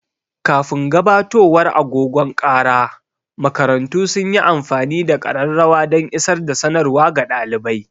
Kafin gabatowar agogon kara, makarantu sun yi amfani da ƙararrawa dan isar da sanarwa ga ɗalibai.